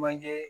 Manjɛ